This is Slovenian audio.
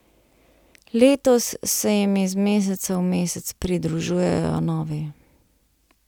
Letos se jim iz meseca v mesec pridružujejo novi.